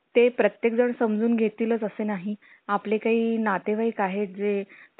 चालतंय मारतो चक्कर तुमच्याकडे उद्या आणि त्याला समजून सांगा सगळं.